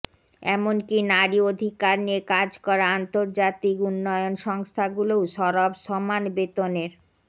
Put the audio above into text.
এমনকি নারী অধিকার নিয়ে কাজ করা আন্তর্জাতিক উন্নয়ন সংস্থাগুলোও সরব সমান বেতনের